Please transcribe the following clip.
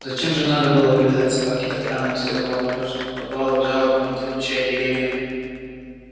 зачем же надо было вылезать собаке так рано из тёплого налёжанного подвала и жалобно выть отвечая деревьям